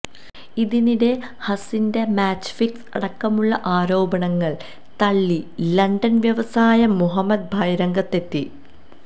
ഇതിനിടെ ഹസിന്റെ match fix അടക്കമുള്ള ആരോപണങ്ങള് തള്ളി ലണ്ടന് വ്യവസായ് മുഹമ്മദ് ഭായ് രംഗത്തെത്തി